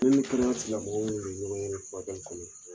furakɛli kɔnɔ.